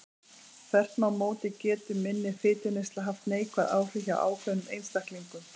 Þvert má móti getur minni fituneysla haft neikvæð áhrif hjá ákveðnum einstaklingum.